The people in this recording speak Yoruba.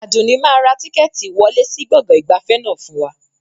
Àdùnní máa ra tíkẹ́ẹ́tì ìwọlé sì gbọ̀ngàn ìgbafẹ́ náà fún wa